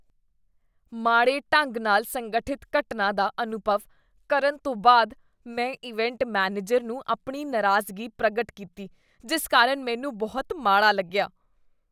ਮਾੜੇ ਢੰਗ ਨਾਲ ਸੰਗਠਿਤ ਘਟਨਾ ਦਾ ਅਨੁਭਵ ਕਰਨ ਤੋਂ ਬਾਅਦ ਮੈਂ ਇਵੈਂਟ ਮੈਨੇਜਰ ਨੂੰ ਆਪਣੀ ਨਾਰਾਜ਼ਗੀ ਪ੍ਰਗਟ ਕੀਤੀ ਜਿਸ ਕਾਰਨ ਮੈਨੂੰ ਬਹੁਤ ਮਾੜਾ ਲੱਗਿਆ।